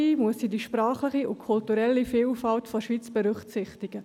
Dabei muss sie die sprachliche und kulturelle Vielfalt der Schweiz berücksichtigen.